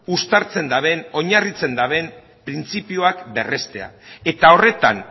uztartzen duten oinarritzen duten printzipioak berrestea eta horretan